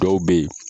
Dɔw bɛ ye